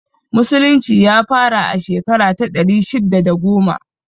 Musulunci ya fara a shekara ta ɗari shidda da goma